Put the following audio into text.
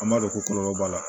An b'a dɔn ko kɔlɔlɔ b'a la